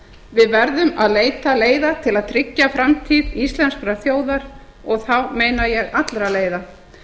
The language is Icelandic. við verðum að leita leiða til að tryggja framtíð íslenskrar þjóðar og þá meina ég allra leiða